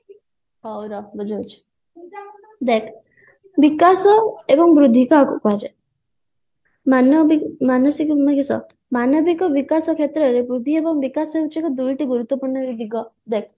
ହଉ ରହ ବୁଝଉଛି ଦେଖ ବିକାଶ ଏବଂ ବୃଦ୍ଧି କାହାକୁ କୁହାଯାଏ ମାନସିକ ମାନେ କିସ ମାନବିକ ବିକାଶ କ୍ଷେତ୍ରରେ ବୃଦ୍ଧି ଏବଂ ବିକାଶ ହଉଛି ଏକ ଦୁଇଟି ଗୁରୁତ୍ୟପୂର୍ଣ ଦିଗ ଦେଖ